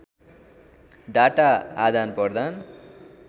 data आदानप्रदान